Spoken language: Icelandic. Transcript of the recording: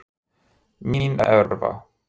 Mínerva